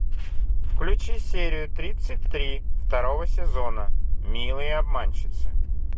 включи серию тридцать три второго сезона милые обманщицы